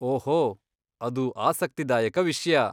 ಓಹೋ, ಅದು ಆಸಕ್ತಿದಾಯಕ ವಿಷ್ಯ.